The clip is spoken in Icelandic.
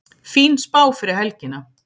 Fín spá fyrir helgina